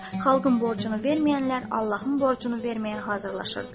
Xalqın borcunu verməyənlər Allahın borcunu verməyə hazırlaşırdılar.